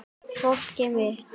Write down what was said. Fólkið mitt